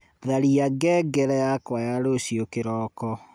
tharia ngengere yakwa ya rucio kiroko